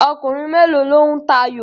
Ọkùnrin mélòó lo ń tayò?